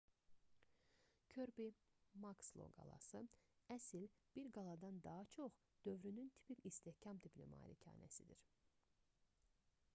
körbi-makslo qalası əsl bir qaladan daha çox dövrünün tipik istehkam tipli malikanəsidir